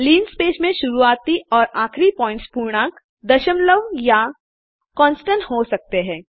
linspace में शुरुआती और आखरी पॉइंट्स पूर्णांक दशमलव या कांस्टेंट्स कान्स्टन्ट हो सकते हैं